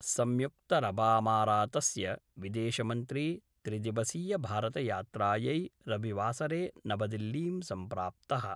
संयुक्तरबामारातस्य विदेशमंत्री त्रिदिवसीयभारतयात्रायै रविवासरे नवदिल्लीं सम्प्राप्तः।